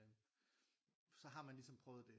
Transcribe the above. Så har man ligesom prøvet det